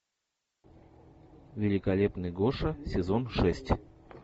великолепный гоша сезон шесть